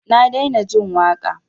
Na daina jin waƙa.